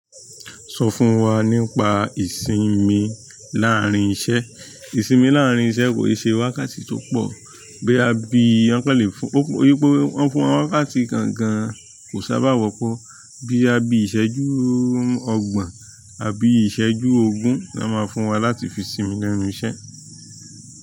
Sọ fún wa nípa ìsinmi láàárín iṣẹ́. Ìsinmi láàárín iṣẹ́ kò ń ṣe wákàtí tó pọ̀, bóyá bíi, wọ́n kàn lè fún, kótó di wípé wọ́n fún wọn ní wákàtí kan gan kò sábà wọ́pọ̀, bóyá bíi ìṣẹ́jú ọgbọ̀n àbí ìṣẹ́jú ogún lọ́ máa fún wa láti fi sinmi lẹ́nu iṣẹ́.